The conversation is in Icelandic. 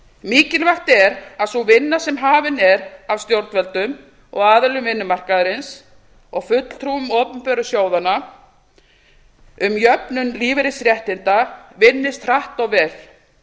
mikilvægt er að sú vinna sem hafin er af stjórnvöldum og aðilum vinnumarkaðarins og fulltrúum opinberu sjóðanna um jöfnun lífeyrisréttinda vinnist hratt og vel